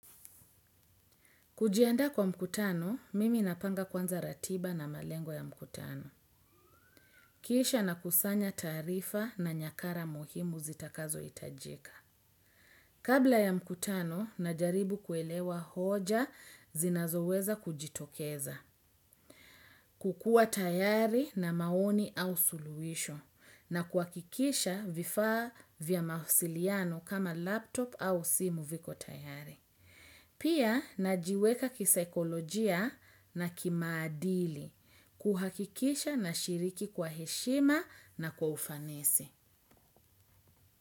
Kujiandaa kwa mkutano, mimi napanga kwanza ratiba na malengo ya mkutano. Kisha nakusanya taarifa na nyakara muhimu zitakazohitajika. Kabla ya mkutano, najaribu kuelewa hoja zinazoweza kujitokeza. Kukua tayari na maoni au suluhisho. Na kuhakikisha vifaa vya mawasiliano kama laptop au simu viko tayari. Pia najiweka kisaikolojia na kimaadili kuhakikisha nashiriki kwa heshima na kwa ufanisi.